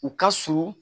U ka surun